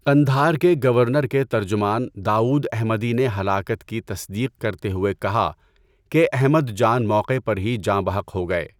قندھار کے گورنر کے ترجمان داؤد احمدی نے ہلاکت کی تصدیق کرتے ہوئے کہا کہ احمد جان موقع پر ہی جاں بحق ہو گئے۔